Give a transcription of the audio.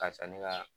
Ka san ne ka